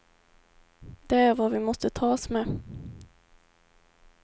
Det är vad vi måste tas med.